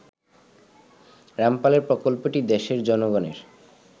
রামপালের প্রকল্পটি দেশের জনগণের